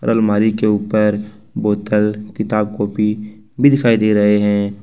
अलमारी के ऊपर बोतल किताब कॉपी भी दिखाई दे रहे हैं।